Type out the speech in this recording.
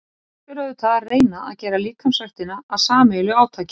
Best er auðvitað að reyna að gera líkamsræktina að sameiginlegu átaki.